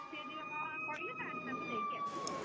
ସେ ଯଦି ହଁ ହାଁ କହିବେ ତାହାଲେ ତାଙ୍କୁ ନେଇକି ଆସିବ!